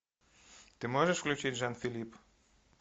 ты можешь включить жан филипп